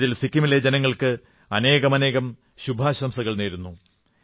ഇതിൽ സിക്കിമിലെ ജനങ്ങൾക്ക് അനേകമനേകം ശുഭാശംസകൾ നേരുന്നു